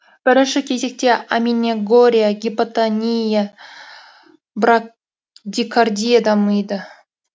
бірінші кезекте аменегория гипотония брадикардия дамиды